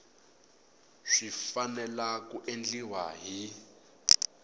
swi fanele ku endliwa hi